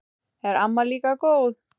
Er amma líka góð?